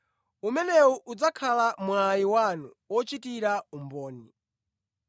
Umenewu udzakhala mwayi wanu ochitira umboni.